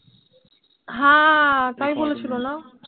হ্যাঁ তাই বলেছিল না?